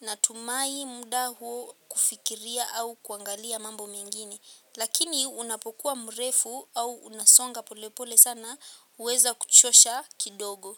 natumai muda huu kufikiria au kuangalia mambo mengine. Lakini unapokuwa mrefu au unasonga polepole sana huweza kuchosha kidogo.